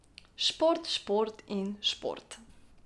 Šport, šport in šport.